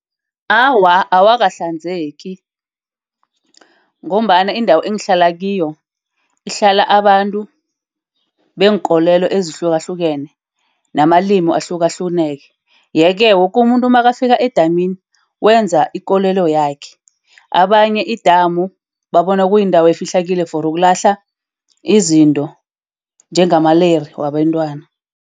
Awa, awakahlanzeki ngombana indawo engihlala kiyo ihlala abantu beenkolelo ezihlukahlukene namalimi ahlukahlukeneko. Yeke woke umuntu nakafika edamini wenza ikolelo yakhe. Abanye idamu babona kuyindawo efihlekile for ukulahla izinto njengamaleyira wabentwana.